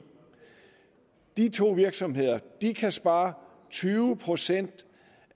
de to virksomheder kan spare tyve procent